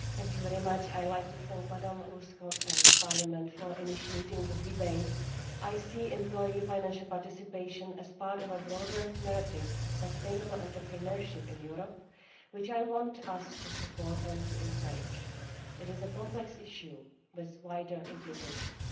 Mr President, I would like to thank Ms Ulvskog and Parliament for initiating this debate. I see employee financial participation as part of a broader narrative of sustainable entrepreneurship in Europe which I want us to support and to encourage. It is a complex issue with wider implications.